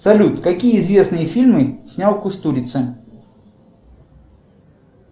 салют какие известные фильмы снял кустурица